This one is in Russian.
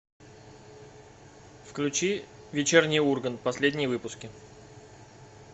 включи вечерний ургант последние выпуски